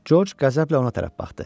Corc qəzəblə ona tərəf baxdı.